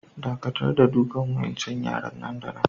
Dakatar da dukan wa'incan yara nan da nan!